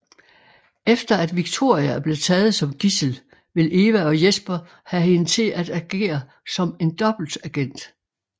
Efter at Victoria er blevet taget som gidsel vil Eva og Jesper have hende til at agere som en dobbeltagent